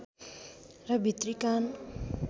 र भित्री कान